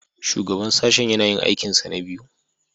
Shugaban Sashen yana yin aikinsa na biyu